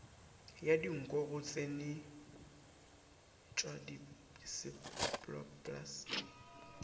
ya dinko go tsenyeletšwa diseptpoplasti